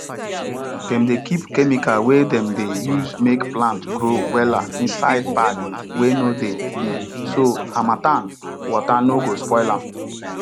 dem dey kip chemical wey dem dey use make plant grow wella inside bag wey no dey leak so harmattan water no go spoil am